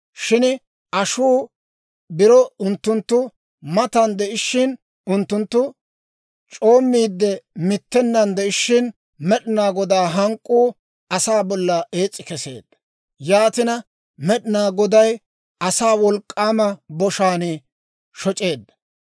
Shin ashuu biro unttunttu matan de'ishshin, unttunttu c'oommiide mittennan de'ishshin, Med'inaa Godaa hank'k'uu asaa bolla ees's'i keseedda; yaatina Med'inaa Goday asaa wolk'k'aama boshaan shoc'eedda.